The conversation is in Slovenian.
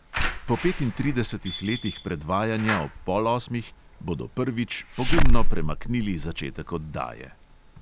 Po petintridesetih letih predvajanja ob pol osmih bodo prvič pogumno premaknili začetek oddaje.